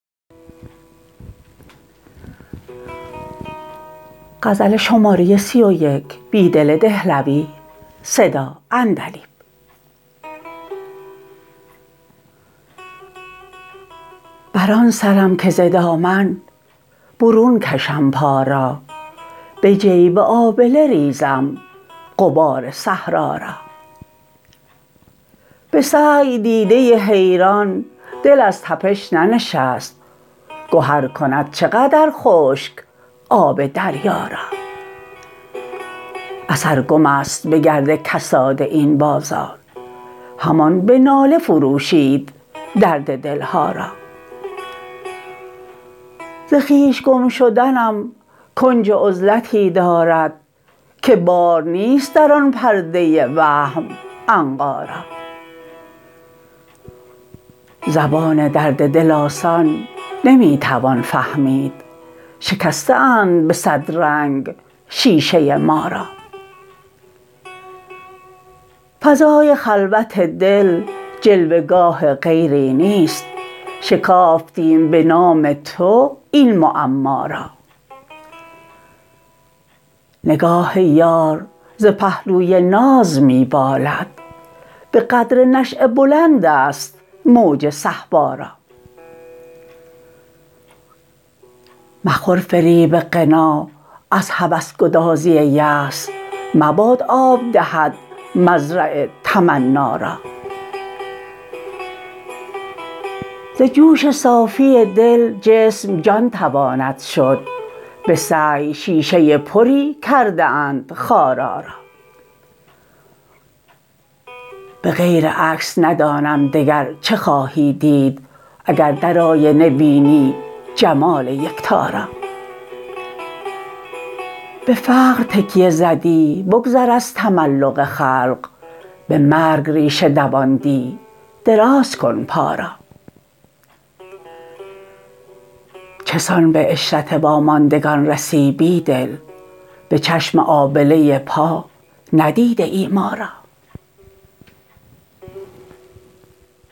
بر آن سرم که ز دامن برون کشم پا را به جیب آبله ریزم غبار صحرا را به سعی دیده حیران دل از تپش ننشست گهر کند چه قدر خشک آب دریا را اثر گم است به گرد کساد این بازار همان به ناله فروشید درد دلها را ز خویش گم شدنم کنج عزلتی دارد که بار نیست در آن پرده وهم عنقا را زبان درد دل آسان نمی توان فهمید شکسته اند به صد رنگ شیشه ما را فضای خلوت دل جلوه گاه غیری نیست شکافتیم به نام تو این معما را نگاه یار ز پهلوی ناز می بالد به قدر نشیه بلند است موج صهبا را مخور فریب غنا از هوس گدازی یأس مباد آب دهد مزرع تمنا را ز جوش صافی دل جسم جان تواند شد به سعی شیشه پری کرده اند خارا را به غیر عکس ندانم دگر چه خواهی دید اگر در آینه بینی جمال یکتا را به فقر تکیه زدی بگذر از تملق خلق به مرگ ریشه دواندی دراز کن پا را چه سان به عشرت واماندگان رسی بیدل به چشم آبله پا ندیده ای ما را